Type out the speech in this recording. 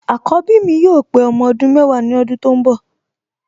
Àkọ́bí mi yóò pé ọmọ ọdún mẹ́wàá ní ọdún tó ń bọ̀